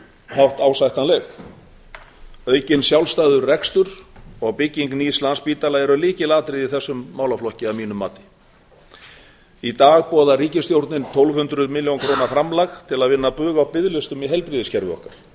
hátt ásættanleg aukinn sjálfstæður rekstur og bygging nýs landspítala eru lykilatriði í þessum málaflokki að mínu mati í dag boðar ríkisstjórnin tólf hundruð milljóna króna framlag til að vinna bug á biðlistum í heilbrigðiskerfi okkar